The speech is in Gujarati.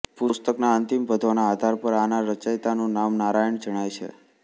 પુસ્તકના અંતિમ પદ્યોના આધાર પર આના રચયિતાનું નામ નારાયણ જણાય છે